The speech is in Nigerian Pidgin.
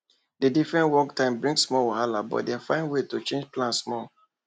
the different work time bring small wahala but dem find way to change plan small